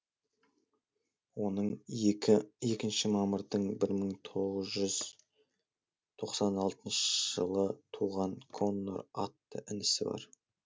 оның екінші мамырдың бір мың тоғыз жүз тоқсан алтыншы жылы туған коннор атты інісі бар